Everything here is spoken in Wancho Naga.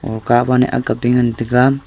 o ban ne akga tegan tega.